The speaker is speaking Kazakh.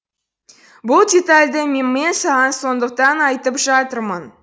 бұл детальді мен саған сондықтан айтып жатырмын